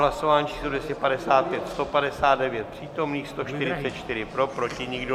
Hlasování číslo 255, 159 přítomných, 144 pro, proti nikdo.